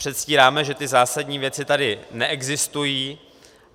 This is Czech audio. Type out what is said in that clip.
Předstíráme, že ty zásadní věci tady neexistují.